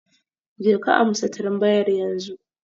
Jeka amsa tambayar yanzu